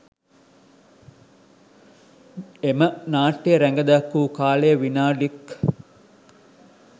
එම නාට්‍යය රඟදැක්වූ කාලය විනාඩික්